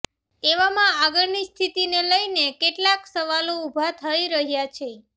એવામાં આગળની સ્થિતિને લઈને કેટલાક સવાલો ઊભા થઈ રહ્યા છે